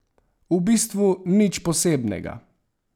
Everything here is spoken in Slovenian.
V bistvu nič posebnega.